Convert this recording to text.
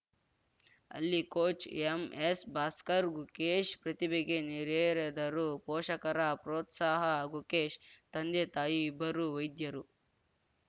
ಅಲ್ಲಿ ಕೋಚ್‌ ಎಂಎಸ್‌ಭಾಸ್ಕರ್‌ ಗುಕೇಶ್‌ ಪ್ರತಿಭೆಗೆ ನೀರೆರೆದರು ಪೋಷಕರ ಪ್ರೋತ್ಸಾಹ ಗುಕೇಶ್‌ ತಂದೆತಾಯಿ ಇಬ್ಬರೂ ವೈದ್ಯರು